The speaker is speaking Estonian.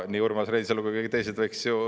Nii Urmas Reinsalu kui ka teised võiks ju …